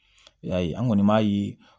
I y'a ye an kɔni b'a ye